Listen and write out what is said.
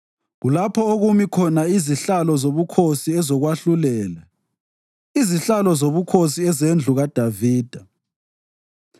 Kulapho okumi khona izihlalo zobukhosi ezokwahlulela, izihlalo zobukhosi ezendlu kaDavida.